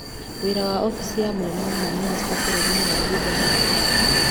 Wĩra wa obici ya mũnene wa mamĩnĩsta bũrũri-inĩ wa Ũganda nĩ ũrĩkũ